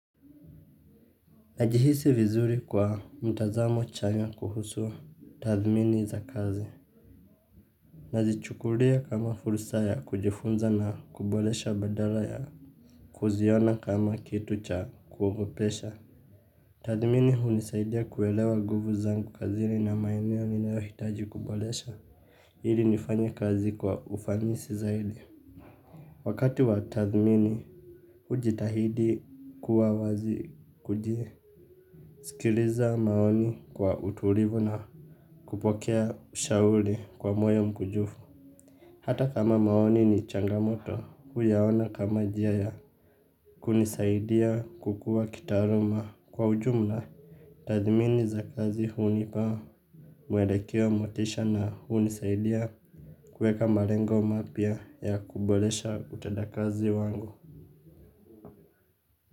Najihisi vizuri kwa mtazamo chanya kuhusua tathimini za kazi. Nazichukulia kama fursa ya kujifunza na kuboresha badala ya kuziona kama kitu cha kuogopesha. Tathmini hunisaidia kuelewa nguvu zangu kazini na maeneo ninayo hitaji kuboresha ili nifanye kazi kwa ufanisi zaidi. Wakati wa tathmini ujitahidi kuwa wazi kuji sikiliza maoni kwa utulivu na kupokea ushauri kwa moyo mkunjufu hata kama maoni ni changamoto huyaona kama njia ya kunisaidia kukua kitaaluma kwa ujumla. Tathimini za kazi hunipa uwelekeo motisha na hunisaidia kuweka malengo mapya ya kuboresha utendakazi wangu.